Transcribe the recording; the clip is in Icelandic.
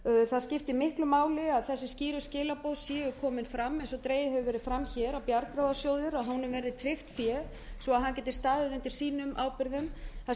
það skiptir miklu máli að þessi skýru skilaboð séu komin fram eins og dregið hefur verið fram hér og að bjargráðasjóði verði tryggt fé svo að hann geti staðið undir sínum ábyrgðum það